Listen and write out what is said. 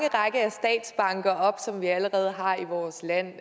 række op som vi allerede har i vores land